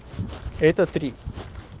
это